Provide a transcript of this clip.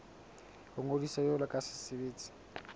ho ngodisa jwalo ka setsebi